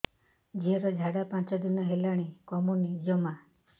ଝିଅର ଝାଡା ପାଞ୍ଚ ଦିନ ହେଲାଣି କମୁନି ଜମା